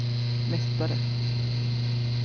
mästare